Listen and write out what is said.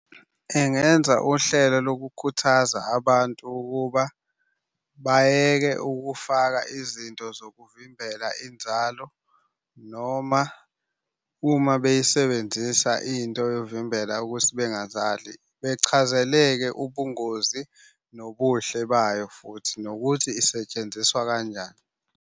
Engenza uhlelo lokukhuthaza abantu ukuba bayeke ukufaka izinto zokuvimbela inzalo, noma uma beyisebenzisa into yokuvimbela ukuthi bengazali bechazeleke ubungozi nobuhle bayo, futhi nokuthi isetshenziswa kanjani.